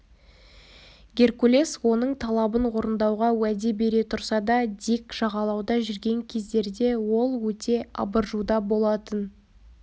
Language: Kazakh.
геркулес оның талабын орындауға уәде бере тұрса да дик жағалауда жүрген кездерде ол өте абыржуда болатын